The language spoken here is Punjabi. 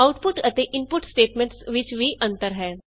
ਆਉਟਪੁਟ ਅਤੇ ਇਨਪੁਟ ਸਟੇਟਮੈਂਟਸ ਵਿਚ ਵੀ ਅੰਤਰ ਹੈ